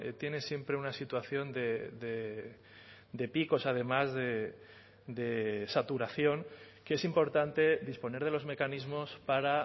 tiene siempre una situación de picos además de saturación que es importante disponer de los mecanismos para